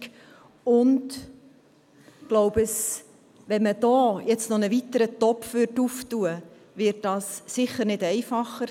Wir haben die EL, und ich glaube, wenn man hier nun noch einen weiteren Topf öffnen würde, wird das sicher nicht einfacher.